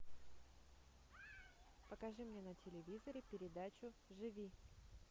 покажи мне на телевизоре передачу живи